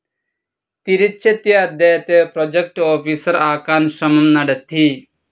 തിരിച്ചെത്തിയ അദ്ദേഹത്തെ project officer ആക്കാൻ ശ്രമം നടത്തി.